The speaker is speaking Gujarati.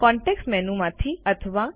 કન્ટેક્સ્ટ મેનુ માંથી અથવા